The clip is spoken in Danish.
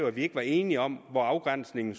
at vi ikke var enige om hvor afgrænsningen